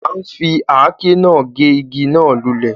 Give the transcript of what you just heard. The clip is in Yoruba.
A ń fi àáké náà gé igi náà lulẹ̀